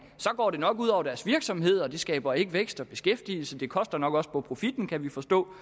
og det nok ud over deres virksomhed det skaber ikke vækst og beskæftigelse og det koster nok også på profitten kan vi forstå